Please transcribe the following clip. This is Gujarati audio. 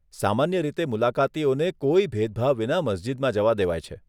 સામાન્ય રીતે મુલાકાતીઓને કોઈ ભેદભાવ વિના મસ્જિદમાં જવા દેવાય છે.